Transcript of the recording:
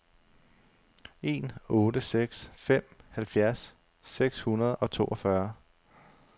en otte seks fem halvfjerds seks hundrede og toogfyrre